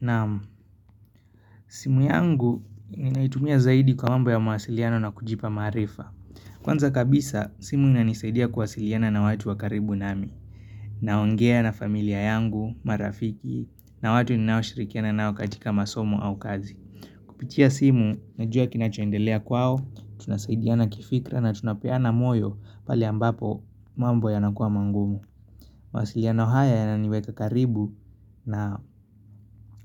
Naamu, simu yangu naitumia zaidi kwa mambo ya mawasiliano na kujipa marifa. Kwanza kabisa, simu inanisaidia kuwasiliana na watu wa karibu nami. Naongea na familia yangu, marafiki, na watu ninaoshirikiana nao katika masomo au kazi. Kupitia simu, najua kinachondelea kwao, tunasaidiana kifikra na tunapeana moyo pale ambapo mambo yanakuwa mangumu. Mawasiliano haya yananiweka karibu na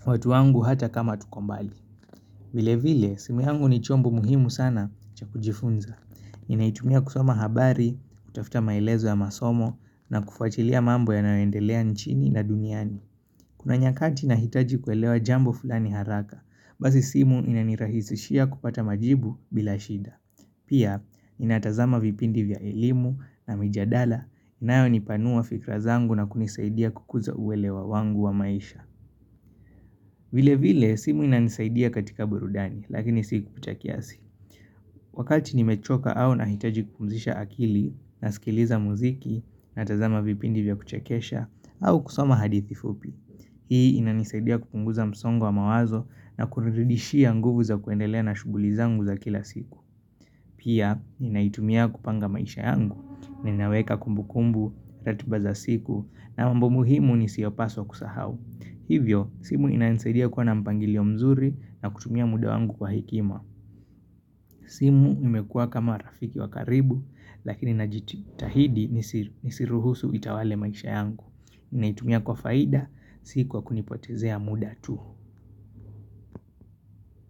watu wangu hata kama tuko mbali. Vile vile, simu yangu ni chombo muhimu sana cha kujifunza. Ninaitumia kusoma habari, kutafuta maelezo ya masomo, na kufuatilia mambo yanayoendelea nchini na duniani. Kuna nyakati nahitaji kuelewa jambo fulani haraka, basi simu inanirahisishia kupata majibu bila shida. Pia, ninatazama vipindi vya elimu na mijadala, inayonipanua fikra zangu na kunisaidia kukuza uelewa wangu wa maisha. Vile vile, simu inanisaidia katika burudani, lakini siku kucha kiasi. Wakati nimechoka au nahitaji kupumzisha akili, nasikiliza muziki, natazama vipindi vya kuchakesha, au kusoma hadithi fupi. Hii ina nisaidia kupunguza msongo wa mawazo na kunirudishia nguvu za kuendelea na shuguli zangu za kila siku. Pia, ninaitumia kupanga maisha yangu, ninaweka kumbu kumbu, ratiba za siku, na mambo muhimu nisiyopaswa kusahau. Hivyo, simu inaninsaidia kuwa na mpangilio mzuri na kutumia muda wangu kwa hikima. Simu imekua kama rafiki wa karibu, lakini najitahidi nisiruhusu itawale maisha yangu. Naitumia kwa faida, si kwa kunipotezea muda tu.